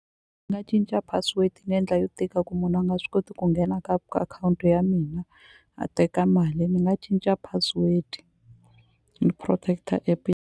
Ni nga cinca password ni endla yo tika ku munhu a nga swi koti ku nghena ka akhawunti ya mina a teka mali ni nga cinca password ni protect-a app.